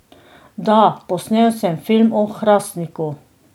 Da, posnel sem film o Hrastniku.